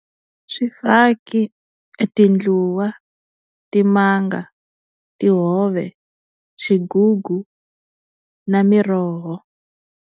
I swifaki tindluwa timanga tihove xigugu na miroho.